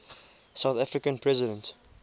south african president